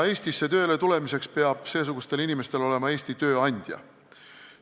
Eestisse tööle tulemiseks peab seesugustel inimestel olema Eesti tööandja.